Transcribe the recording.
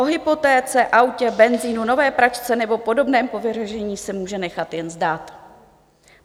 O hypotéce, autě, benzinu, nové pračce nebo podobném povyražení si může nechat jen zdát.